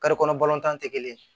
kɔnɔ balɔntan tɛ kelen